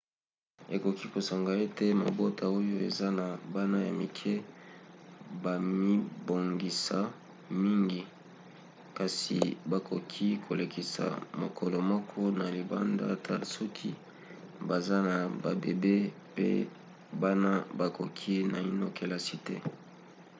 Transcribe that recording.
ekoki kosenga ete mabota oyo eza na bana ya mike bamibongisa mingi kasi bakoki kolekisa mokolo moko na libanda ata soki baza na babebe pe bana bakoti naino kelasi te